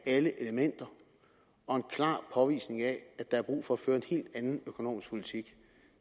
alle elementerne og en klar påvisning af at der er brug for at føre en helt anden økonomisk politik